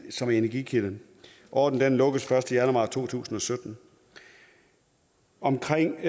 som energikilde ordningen lukkes først i januar to tusind og sytten omkring